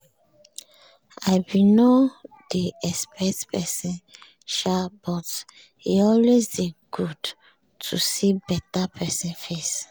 i be nor dey expect pesin sha but e always dey good to see beta pesin face